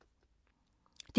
DR1